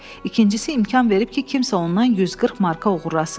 İkincisi, imkan verib ki, kimsə ondan 140 marka uğurlasın.